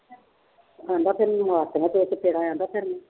ਕਹਿੰਦਾ ਤੇਰੀ ਮਾਂ